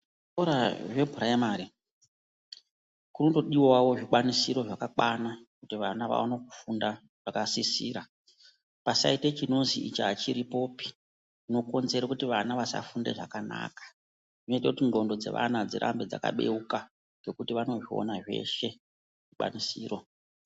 Kuzvikora zvepuraimari kunotodiwawo zvikwanisiro zvakakwana kuti vana vawane kufunda zvakasisira. Pasaite chinozi ichi hachiripopi, chinokonzere kuti vana vasafunda zvakanaka. Zvinoita kuti ndxondo dzevana dzirambe dzakabeuka ngekuti vanozviona zveshe zvikwanisiro.